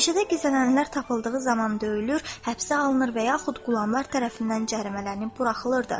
Meşədə gizlənənlər tapıldığı zaman döyülür, həbsə alınır və yaxud qulamlar tərəfindən cərimələnib buraxılırdı.